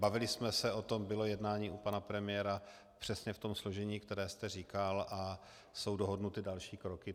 Bavili jsme se o tom, bylo jednání u pana premiéra přesně v tom složení, které jste říkal, a jsou dohodnuty další kroky.